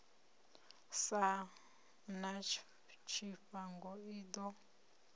sa na tshifhango i ḓo